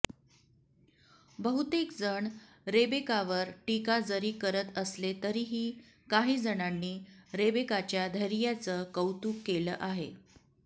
बहुतेक जण रेबेकावर टीका जरी करत असले तरीही काही जणांनी रेबेकाच्या धैर्याचं कौतुक केलं आहे